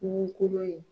Kungo kolon ye